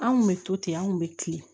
An kun bɛ to ten an kun bɛ kilen